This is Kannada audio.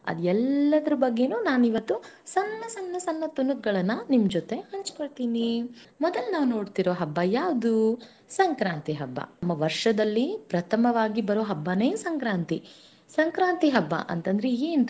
ಅದ ಎಲ್ಲದರ ಬಗ್ಗೆನು ನಾನು ಇವತ್ತು ಸಣ್ಣ ಸಣ್ಣ ತುಣುಕುಗಳನ್ನ ನಿಮ್ಮ ಜೊತೆ ಹಂಚ್ಕೋತೀನಿ ಮೊದಲ ನಾವ ನೋಡ್ತಿರೋ ಹಬ್ಬ ಯಾವುದು ಸಂಕ್ರಾಂತಿ ಹಬ್ಬ ವರ್ಷದಲ್ಲಿ ಪ್ರಥಮವಾಗಿ ಬರೋ ಹಬ್ಬನೇ ಸಂಕ್ರಾಂತಿ, ಸಂಕ್ರಾಂತಿ ಹಬ್ಬ ಅಂತಂದ್ರ ಏನ್ರಿ.